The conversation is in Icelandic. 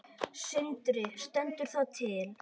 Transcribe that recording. Sindri: Stendur það til?